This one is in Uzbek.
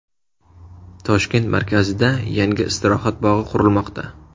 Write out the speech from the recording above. Toshkent markazida yangi istirohat bog‘i qurilmoqda.